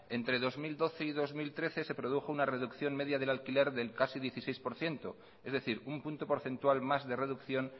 entre dos mil doce y dos mil trece se produjo una reducción media del alquiler del casi dieciséis por ciento es decir un punto porcentual más de reducción